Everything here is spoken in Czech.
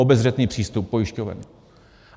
Obezřetný přístup pojišťoven.